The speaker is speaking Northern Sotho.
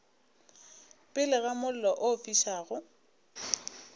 pele ga mollo o fišago